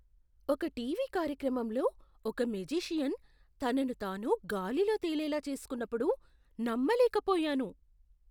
ఒక టీవీ కార్యక్రమంలో ఒక మేజిషియన్ తనను తాను గాలిలో తేలేలా చేసుకున్నప్పుడు నమ్మలేకపోయాను.